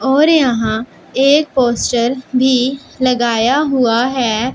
और यहां एक पोस्टर भी लगाया हुआ है।